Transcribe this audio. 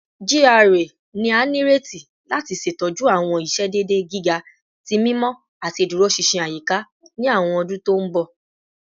GRA ni a nireti lati ṣetọju awọn iṣedede giga ti mimọ ati iduroṣinṣin ayika ni awọn ọdun to nbọ